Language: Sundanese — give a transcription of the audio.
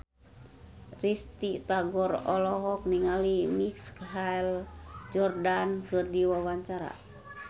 Risty Tagor olohok ningali Michael Jordan keur diwawancara